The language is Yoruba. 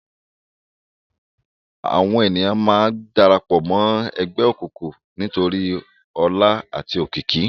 Àwón éniyán má n dàrâpò mò ègbè ókúkú nitóri òlá âti ókiki